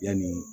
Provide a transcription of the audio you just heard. Yanni